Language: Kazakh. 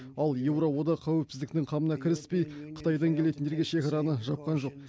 ал еуроодақ қауіпсіздіктің қамына кіріспей қытайдан келетіндерге шекараны жапқан жоқ